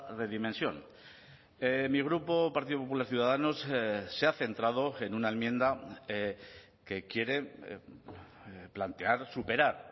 redimensión mi grupo partido popular ciudadanos se ha centrado en una enmienda que quiere plantear superar